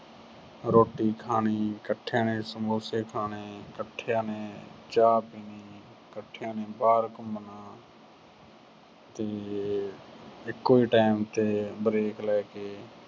ਰੋਟੀ ਖਾਣੀ, ਇੱਕਠਿਆਂ ਨੇ ਸਮੋਸੇ ਖਾਣੇ, ਇੱਕਠੀਆਂ ਨੇ ਚਾਹ ਪੀਣੀ, ਇੱਕਠੀਆਂ ਨੇ ਬਾਹਰ ਘੁੰਮਣਾ ਤੇ ਇੱਕੋ time ਤੇ break ਲੈ ਕੇ